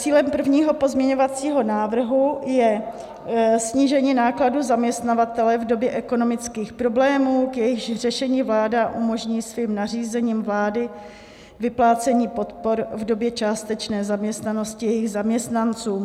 Cílem prvního pozměňovacího návrhu je snížení nákladů zaměstnavatele v době ekonomických problémů, k jejichž řešení vláda umožní svým nařízením vlády vyplácení podpor v době částečné zaměstnanosti jejich zaměstnancům.